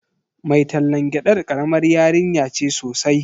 Mai tallan gyadar karamar yarinya ce sosai.